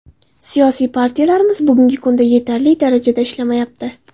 Siyosiy partiyalarimiz bugungi kunda yetarli darajada ishlamayapti.